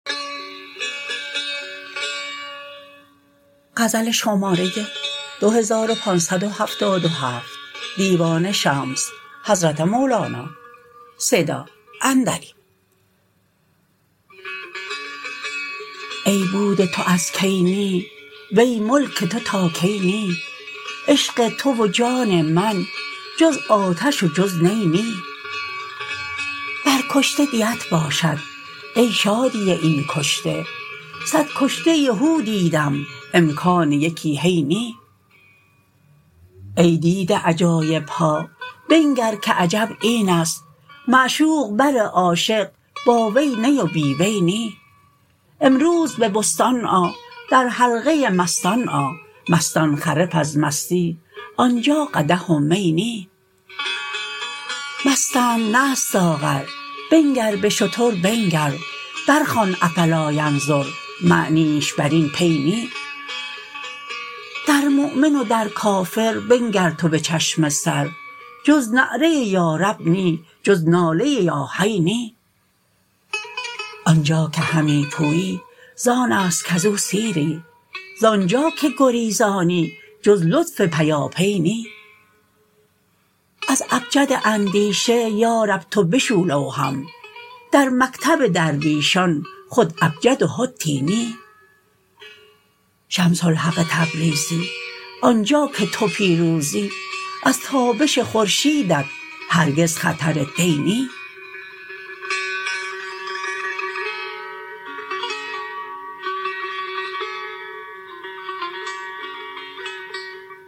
ای بود تو از کی نی وی ملک تو تا کی نی عشق تو و جان من جز آتش و جز نی نی بر کشته دیت باشد ای شادی این کشته صد کشته هو دیدم امکان یکی هی نی ای دیده عجایب ها بنگر که عجب این است معشوق بر عاشق با وی نی و بی وی نی امروز به بستان آ در حلقه مستان آ مستان خرف از مستی آن جا قدح و می نی مستند نه از ساغر بنگر به شتر بنگر برخوان افلا ینظر معنیش بر این پی نی در مؤمن و در کافر بنگر تو به چشم سر جز نعره یا رب نی جز ناله یا حی نی آن جا که همی پویی زان است کز او سیری زان جا که گریزانی جز لطف پیاپی نی از ابجد اندیشه یا رب تو بشو لوحم در مکتب درویشان خود ابجد و حطی نی شمس الحق تبریزی آن جا که تو پیروزی از تابش خورشیدت هرگز خطری دی نی